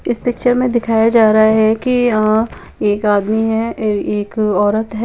इस पिचर में दिखाया जा रहा है की अएक आदमी है एक ओरत है ।